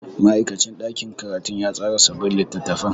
Ma'aikacin ɗakin karatu ya tsara sabbin littattafan.